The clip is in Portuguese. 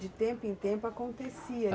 De tempo em tempo, acontecia.